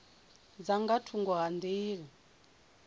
dza nga thungo ha nḓila